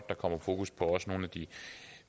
der kommer fokus på også nogle af de